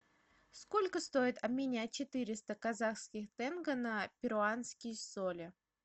сколько стоит обменять четыреста казахских тенге на перуанские соли